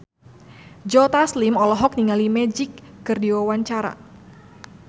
Joe Taslim olohok ningali Magic keur diwawancara